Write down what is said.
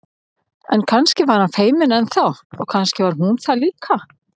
En kannski var hann feiminn enn þá og kannski var hún það líka.